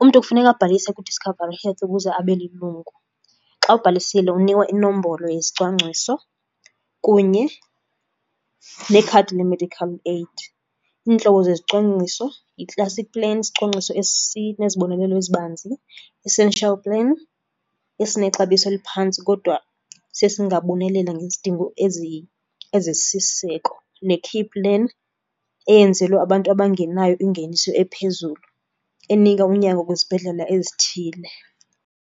umntu kufuneka abhalise kuDiscovery Health ukuze abe lilungu. Xa ubhalisile unikwa inombolo yesicwangciso kunye nekhadi le-medical aid. Iintlobo zezicwangciso yi-classic plan, isicwangciso esinezibonelelo ezibanzi, essential plan esinexabiso eliphantsi kodwa siye singabonelela ngezidingo ezisisiseko ne-key plan eyenzelwe abantu abangenayo ingeniso ephezulu, enika unyango kwizibhedlela ezithile.